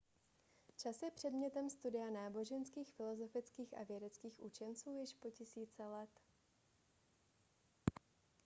čas je předmětem studia náboženských filozofických a vědeckých učenců již po tisíce let